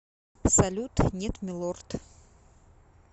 салют нет милорд